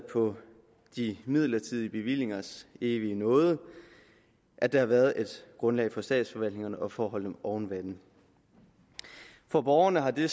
på midlertidige bevillingers evige nåde at der har været et grundlag for statsforvaltningerne og for at holde dem oven vande for borgerne har det